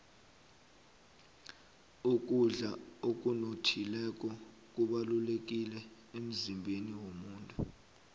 ukudla okunothileko kubalulekile emzimbeni womuntu